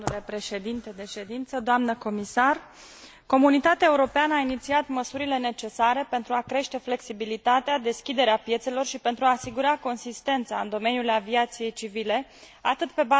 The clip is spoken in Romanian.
Comunitatea Europeană a inițiat măsurile necesare pentru a crește flexibilitatea, deschiderea piețelor și pentru a asigura coerența în domeniul aviației civile, atât pe baza unor relații bilaterale, cât și multilaterale.